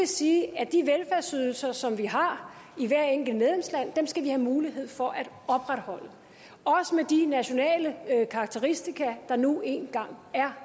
sige at de velfærdsydelser som vi har i hvert enkelt medlemsland skal vi have mulighed for at opretholde også med de nationale karakteristika der nu engang er